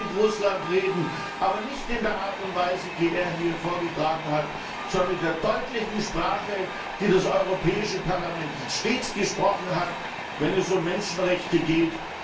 Man muss mit Russland reden, aber nicht in der Art und Weise, die er hier vorgetragen hat, sondern mit der deutlichen Sprache, die das Europäische Parlament stets gesprochen hat, wenn es um Menschenrechte geht.